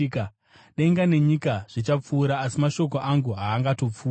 Denga nenyika zvichapfuura, asi mashoko angu haangatongopfuuri.